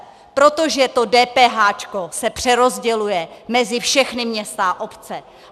Protože to DPH se přerozděluje mezi všechny města a obce.